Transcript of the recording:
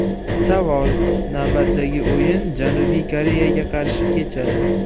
Savol: Navbatdagi o‘yin Janubiy Koreyaga qarshi kechadi.